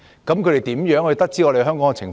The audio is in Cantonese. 他們如何得知香港的情況？